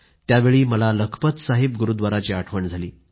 त्यावेळी मला लखपत साहिब गुरूव्दाराची आठवण झाली